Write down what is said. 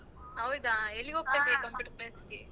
ಹೌದಾ computer class ಗೆ?